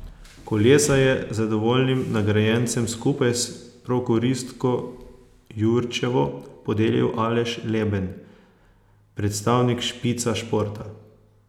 Kolesa je zadovoljnim nagrajencem skupaj s prokuristko Jurčevo, podelil Aleš Leben, predstavnik Špica Športa.